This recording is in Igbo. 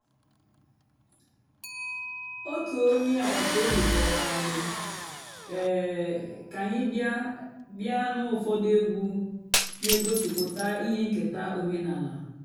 ótú ónyé àgbàtàòbí kpọ́rọ́ ànyị́ um kà ànyị́ bị́á bị́á nụ́ ụ́fọ̀dụ́ ègwú nà-ègosìpụ́tá íhé ǹkèta ọ̀mènàlà.